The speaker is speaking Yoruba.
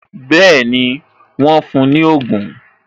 Bẹẹni, wọn fún ní ogun